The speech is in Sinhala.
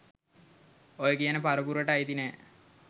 ඔය කියන පරපුරට අයිති නෑ.